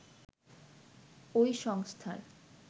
ওই সংস্থার